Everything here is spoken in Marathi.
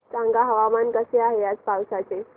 सांगा हवामान कसे आहे आज पावस चे